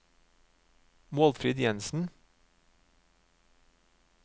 Målfrid Jensen